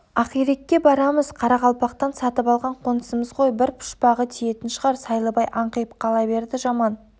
ақирекке барамыз қарақалпақтан сатып алған қонысымыз ғой бір пұшпағы тиетін шығар сайлыбай аңқиып қала берді жаман